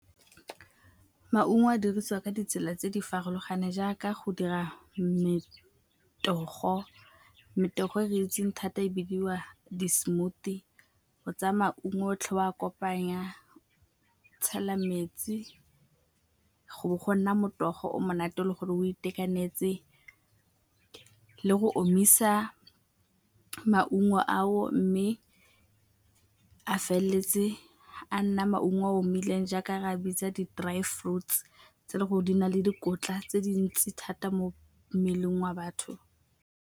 Maungo a dirisiwa ka ditsela tse di farologaneng jaaka go dira metogo, metogo e re itseng thata e bidiwa di-smoothie. O tsaya maungo otlhe o a kopanya, tshela metsi go nna morogo o monate le gore o itekanetse le go omisa maungo ao mme a feleletse a nna maungo a omileng jaaka re a bitsa di-dry fruits tse le gore di na le dikotla tse dintsi thata mo mmeleng wa batho.